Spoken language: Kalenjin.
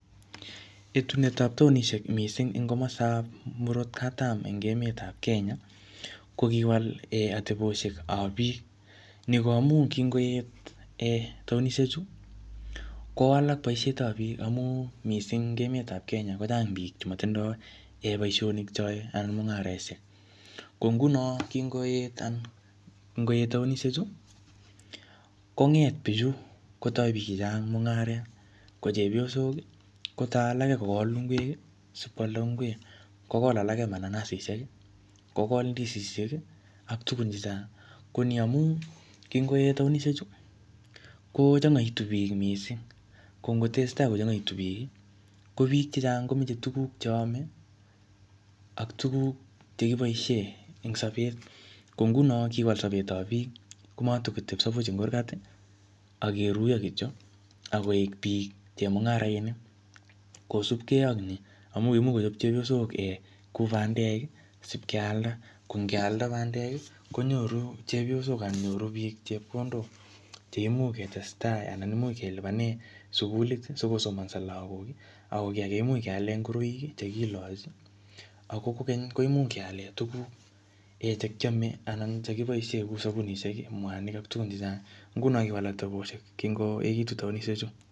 Etunetab taonishek en komostab murot katam eng emetab Kenya, ko kiwal ateposhekab biik. Niko amun ki ngoet taonishechu kowalak boisheabt biik ni ko amun eng emetab Kenya ko chang biik chemotindoi boishonik cheyoei anan mung'areshek. Ko nguno ngoet taonishechu kong'et biichu, kotoi biik che chang mung'aret. Ko chepyosok kotoi alake kokol ingwek asi koalda. Kokol alake mananasisiek, kokol ndisisiek ak tukun che chang. Ko ni amun, kin'goet taonishechu, kochang'oitu biik mising. Ko ngo tesein tai kochang'oeitu biik, ko biik che chang ko machei tukun che amei, ak tukuk che kiboishe eng sobet. Ko nguno kiwal sobetab biik. Nekatatikotepsei puch eng kurgat, ak keruiyo kityo ak koek biik, chemung'arainik kosupkei ak ni, amun imuch kochop chepyosok akot bandek sipkealda ko ngealda bandek konyoru chepyosok asnan nyory biik chepkondok cheimuch kelipane sukulit siko somanso lagok. Ako much keale ngoroik chekilochi ako kokeny kemuch keale tukuk che kiamei anan che kiboishe kou sabunishek mwanik ak tukun chechang. Nguni kiwal ateposhek.